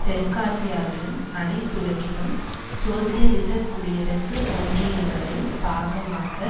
தெற்காசியாவிலும் அனைத்துலகிலும் சோசியலிசக் குடியரசு ஒன்றியங்களின் பாகமாக